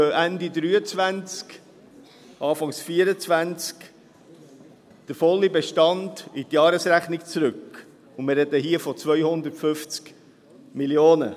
Dann geht Ende 2023, Anfang 2024 der volle Bestand in die Jahresrechnung zurück, und wir sprechen hier von 250 Mio. Franken.